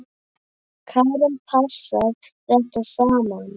Karen: Passar þetta saman?